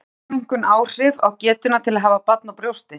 Hefur brjóstaminnkun áhrif á getuna til að hafa barn á brjósti?